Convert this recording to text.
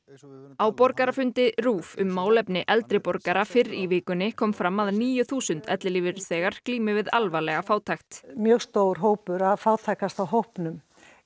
á borgarafundi RÚV um málefni eldri borgara fyrr í vikunni kom fram að níu þúsund ellilífeyrisþegar glími við alvarlega fátækt mjög stór hópur af fátækasta hópnum